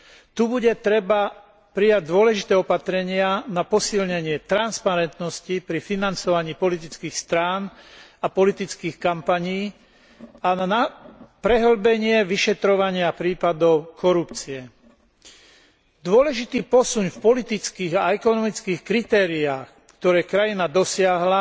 Tu bude treba prijať dôležité opatrenia na posilnenie transparentnosti pri financovaní politických strán a politických kampaní a na prehĺbenie vyšetrovania prípadov korupcie. Dôležitý posun v politických a ekonomických kritériách, ktoré krajina dosiahla,